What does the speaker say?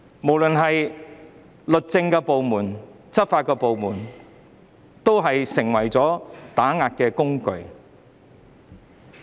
不論是律政部門還是執法部門，皆成為了打壓工具。